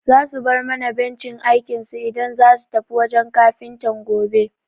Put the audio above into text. Za su bar mana bencin aikinsu idan zasu tafi wajen Kafintan gobe.